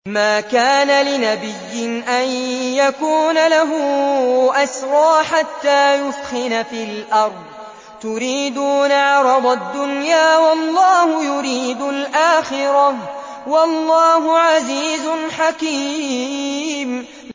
مَا كَانَ لِنَبِيٍّ أَن يَكُونَ لَهُ أَسْرَىٰ حَتَّىٰ يُثْخِنَ فِي الْأَرْضِ ۚ تُرِيدُونَ عَرَضَ الدُّنْيَا وَاللَّهُ يُرِيدُ الْآخِرَةَ ۗ وَاللَّهُ عَزِيزٌ حَكِيمٌ